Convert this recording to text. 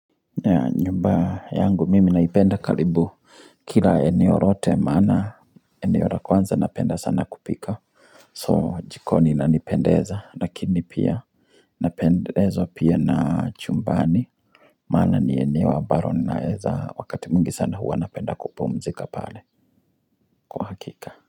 Ya nyumba yangu mimi naipenda karibu kila eneo rote maana eneo ra kwanza napenda sana kupika so jikoni inanipendeza lakini pia napendezwa pia na chumbani maana ni eneo ambaro ninaeza wakati mwingi sana huwa napenda kupumzika pale kwa hakika.